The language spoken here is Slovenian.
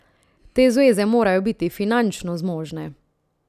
Te zveze morajo biti finančno zmožne.